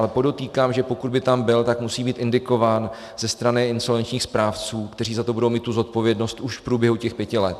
Ale podotýkám, že pokud by tam byl, tak musí být indikován ze strany insolvenčních správců, kteří za to budou mít tu zodpovědnost už v průběhu těch pěti let.